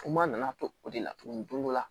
Kuma nana to o de la tuguni